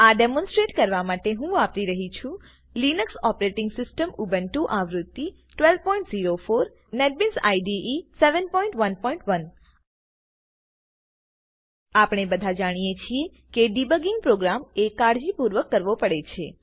આ ડેમોનસ્ટ્રેટ કરવા માટે હું વાપરી રહી છુ લીનક્સ ઓપરેટીંગ સીસ્ટમ ઉબ્નટુ આવૃત્તિ વી1204 નેટબીન્સ નેટબીન્સ આઇડીઇ વી711 આપણે બધા જાણીએ છીએ કે ડિબગિંગ પ્રોગ્રામ એ કાળજીપૂર્વક કરવો પડે છે